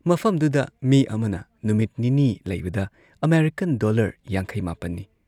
ꯃꯐꯝꯗꯨꯗ ꯃꯤ ꯑꯃꯅ ꯅꯨꯃꯤꯠ ꯅꯤꯅꯤ ꯂꯩꯕꯗ ꯑꯃꯦꯔꯤꯀꯥꯟ ꯗꯣꯜꯂꯔ ꯌꯥꯡꯈꯩ ꯃꯥꯄꯟꯅꯤ ꯅꯤ ꯫